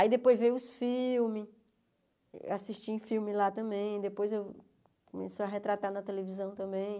Aí depois veio os filmes, assisti em filme lá também, depois eu começou a retratar na televisão também.